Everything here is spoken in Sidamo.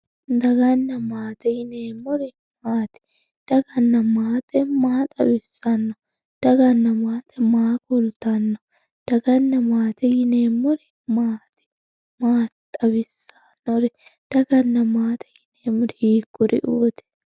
Daganna maate yineemmori maati, daganna maate maa xawisano, daganna maate maa ku'littano, daganna maate yineemmori maati, maa xawisano, daganna maate yineemmori hikkuriuti?